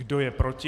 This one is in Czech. Kdo je proti?